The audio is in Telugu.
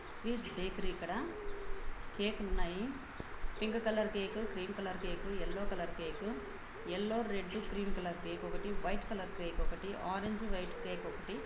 స్వీట్స్ బేకరీ ఇక్కడ కేక్ లు ఉన్నాయి pink colour cake green colour cake yellow colour cake yellow red green colour cake ఒకటి వైట్ కలర్ కేక్ ఒకటి ఆరేంజ్ వైట్ కేక్ ఒకటి.